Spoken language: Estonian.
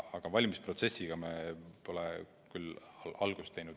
Aga valimisprotsessiga me pole küll veel algust teinud.